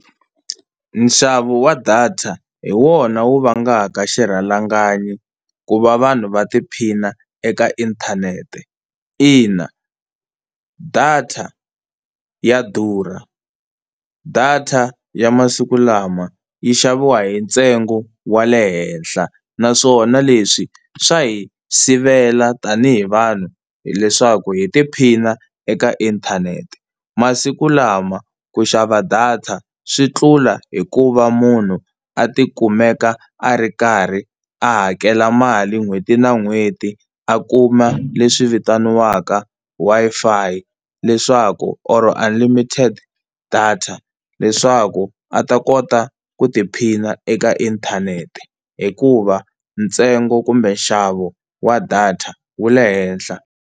Nxavo wa data hi wona wu vangaka xirhalanganyi ku va vanhu va tiphina eka inthanete, ina data ya durha. Data ya masiku lama yi xaviwa hi ntsengo wa le henhla naswona leswi swa hi sivela tani hi vanhu leswaku hi tiphina eka inthanete. Masikulama ku xava data swi tlula hi ku va munhu a ti kumeka a ri karhi a hakela mali n'hweti na n'hweti a kuma leswi vitaniwaka Wi-Fi leswaku or unlimited data leswaku a ta kota ku tiphina eka inthanete, hikuva ntsengo kumbe nxavo wa data wu le henhla.